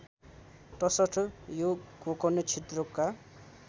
तसर्थ यो गोकर्ण क्षेत्रका